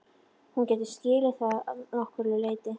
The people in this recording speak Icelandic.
Hún getur skilið það að nokkru leyti.